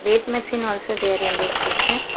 Weight machine also there in this picture.